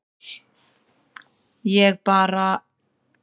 ég bara